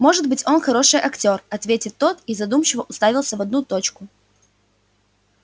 может быть он хороший актёр ответил тот и задумчиво уставился в одну точку